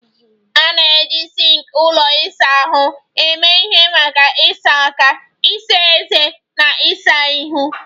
A na-eji sinks ụlọ ịsa ahụ eme ihe maka ịsa aka, ịsa ezé, na ịsa ihu